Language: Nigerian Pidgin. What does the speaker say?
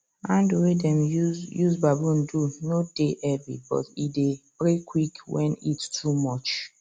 handle way dem use use bamboo do no dey heavy but e dey break quick when heat too much